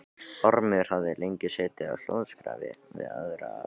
Ormur hafði lengi setið á hljóðskrafi við Ara Jónsson.